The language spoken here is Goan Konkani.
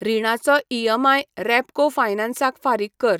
रिणाचो ईएमआय रेपको फायनान्स क फारीक कर.